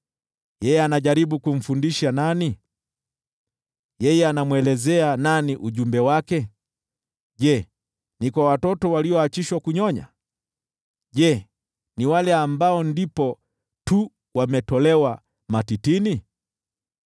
“Yeye anajaribu kumfundisha nani? Yeye anamwelezea nani ujumbe wake? Je, ni kwa watoto walioachishwa kunyonya? Je, ni wale ambao ndipo tu wametolewa matitini?